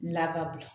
Lababila